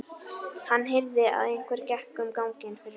Hann heyrði að einhver gekk um ganginn fyrir utan.